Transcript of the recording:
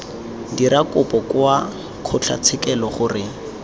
dira kopo kwa kgotlatshekelo gore